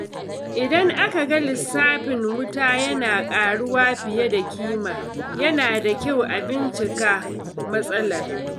Idan aka ga lissafin wuta yana ƙaruwa fiye da ƙima, yana da kyau a bincika matsalar.